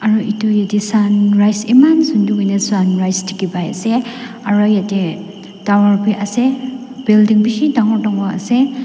aru itu yeti sunrise iman sundur huina sunrise dikhipaiase ase aro ite tower bi ase building bishi dangor dangor ase.